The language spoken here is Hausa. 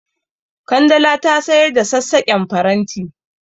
Kandala ta sayar da saƙaƙƙen faranti.